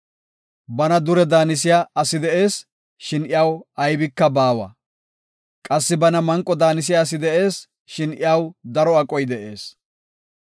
Bana dure daanisiya asi de7ees; shin iyaw aybinne baawa; qassi bana manqo daanisiya asi de7ees; shin iyaw daro aqoy de7ees.